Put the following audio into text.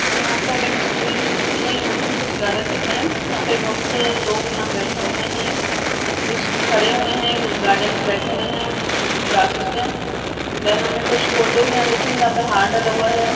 यहा पे हमें एक स्कूल नहीं यहा पे हमें कुछ गार्डन दिख रहा है यहा पे बहुत से लोग यह बैठे हुए है कुछ खड़े हुए है गार्डन में बैठे हुए है ग्रासेस पे देन हमें कुछ फ़ोटोज़ यहा दिख रही है जहा हार डाला हुआ है।